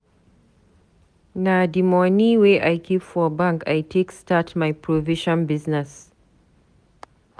Na di moni wey I keep for bank I take start my provision business.